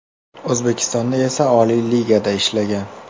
O‘zbekistonda esa Oliy ligada ishlagan.